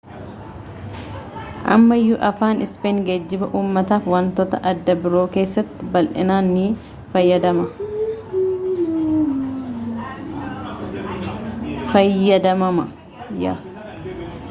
ammayyuu afaan ispeen geejjiba uumataa fi wantoota adda biroo keessatti bal'inaan ni fayyadamama